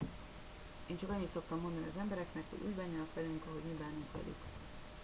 én csak annyit szoktam mondani az embereknek hogy úgy bánjanak velünk ahogy mi bánunk velük